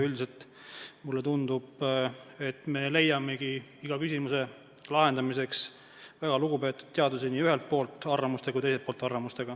Üldiselt mulle tundub, et me leiamegi iga küsimuse lahendamisel väga lugupeetud teadlasi arvamustega nii ühelt poolt kui ka teiselt poolt.